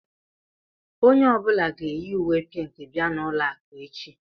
Onye ọ bụla ga-eyi uwé pínkì bia n'ụlọ akụ echi